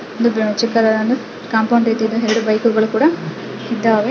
ಒಂದು ಚಿಕ್ಕದಾದೊಂದು ಕಾಂಪೌಂಡ್ ರೀತಿ ಇದೆ ಎರೆಡು ಬೈಕುಗಳು ಕೂಡ ಇದ್ದಾವೆ .